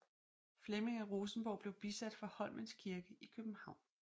Flemming af Rosenborg blev bisat fra Holmens Kirke i København